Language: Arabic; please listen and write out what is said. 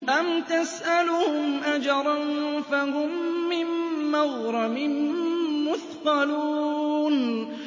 أَمْ تَسْأَلُهُمْ أَجْرًا فَهُم مِّن مَّغْرَمٍ مُّثْقَلُونَ